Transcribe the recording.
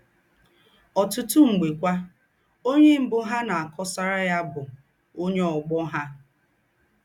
Ọ́tùtù m̀gbè kwà, ónyè m̀bù ha ná-àkọ̀sàrà ya bụ̀ ónyè ọ̀gbọ̀ ha.